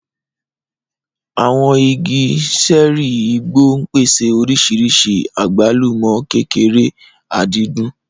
Àwọn igi ṣẹ́ẹ́rì igbó ń pèsè oríṣìíríṣìí àgbálùmọ́ kékeré, àdìdún.